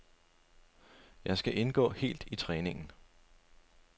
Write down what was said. Jeg skal indgå helt i træningen.